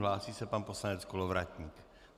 Hlásí se pan poslanec Kolovratník.